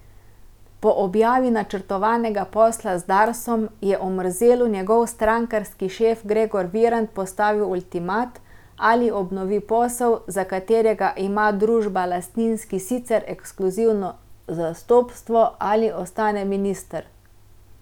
Po objavi načrtovanega posla z Darsom je Omerzelu njegov strankarski šef Gregor Virant postavil ultimat, ali obnovi posel, za katerega ima družba Lastinski sicer ekskluzivno zastopstvo, ali ostane minister.